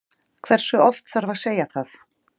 Hversu oft þarf að segja það?